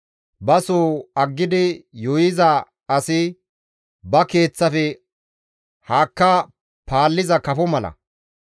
Ba soo aggidi yuuyiza asi, ba keeththafe haakka paalliza kafo mala.